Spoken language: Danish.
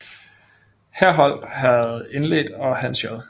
Herholdt havde indledt og Hans J